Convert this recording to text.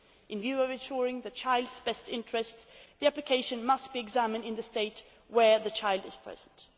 With a view to ensuring the child's best interests, the application must be examined in the state where the child is present.